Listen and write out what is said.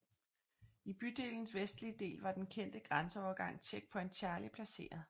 I bydelens vestlige del var den kendte grænseovergang Checkpoint Charlie placeret